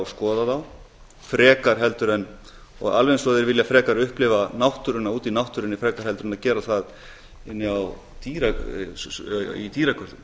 skoða þá frekar en og alveg eins og þeir vilja frekar upplifa náttúruna úti í náttúrunni frekar en að gera það inni í dýragörðum